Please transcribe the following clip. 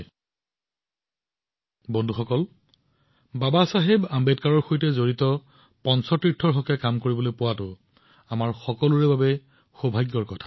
বন্ধুসকল এইটো আমাৰ সকলোৰে বাবে সৌভাগ্যৰ বিষয় যে আমি বাবাচাহেবৰ সৈতে জড়িত পঞ্চ তীৰ্থৰ বাবে কাম কৰাৰ সুযোগ পাইছো